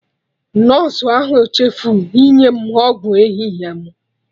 Nọsụ ahụ chefuo inye m ọgwụ ehihie mụ